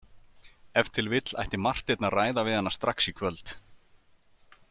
Ef til vill ætti Marteinn að ræða við hana strax í kvöld.